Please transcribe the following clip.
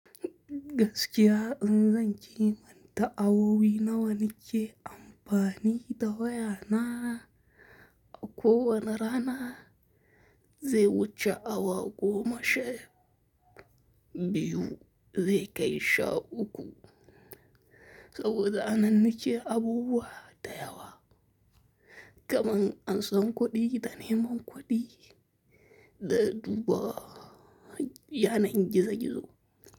Gaskiya in zan ki manta awowi na wanike amfani da waya na, akowa na rana zai wuce awa goma sha biyu zai kai sha uku. Saboda an ninke abubuwa da yawa kamar an san kuɗi da neman kuɗi da duba yanar gizo gizo.